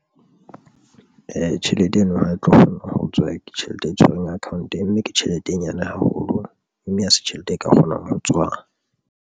Tjhelete eno ha e tlo kgona ho tswa, ke tjhelete e tshwerweng account mme ke tjhelete e nyane haholo mme ha se tjhelete e ka kgonang ho tswa.